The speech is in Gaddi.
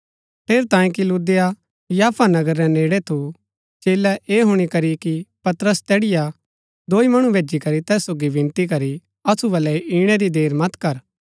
ठेरैतांये कि लुद्दा याफा नगर रै नेड़ै थु चेलै ऐह हुणी करी कि पतरस तैड़ीआ दोई मणु भैजी करी तैस सोगी विनती करी असु बलै इणै री देर मत कर